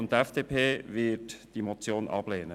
Die FDP wird die Motion ablehnen.